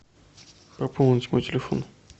пополнить мой телефон